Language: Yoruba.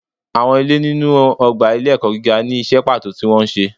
Awọn ilé inu ogba ilé ẹkọ gígá ni iṣẹ pato tí wón ṣe